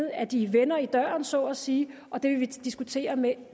at de vender i døren så at sige og det vil vi diskutere med